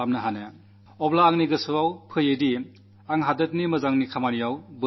ഞാൻ നാടിന്റെ നന്മയ്ക്ക് എങ്ങനെ ഉപകാരപ്പെടുന്നവനാകും എന്ന് എന്റെ മനസ്സിൽ തോന്നി